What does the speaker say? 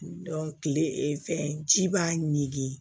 kile ee fɛn ji b'a ɲigin